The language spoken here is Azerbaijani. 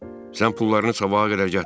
Sən pullarını sabaha qədər gətir.